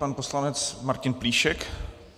Pan poslanec Martin Plíšek.